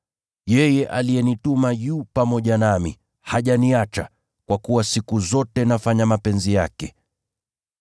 Yeye aliyenituma yu pamoja nami, hajaniacha, kwa kuwa siku zote nafanya mapenzi yake.’ ”